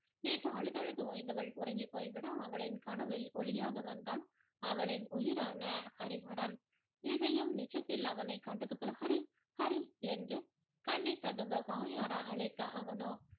நேற்று அழுது அழுது ஓய்ந்தவள் உறங்கிப் போய்விட அவளின் கனவில் ஒளியாக வந்தான் அவளின் உயிரான ஹரிஹரன் இசையும் நிஜத்தில் அவனை கண்டது போல ஹரி ஹரி என்று கண்ணீர் ததும்ப வாயார அழைக்க அவனோ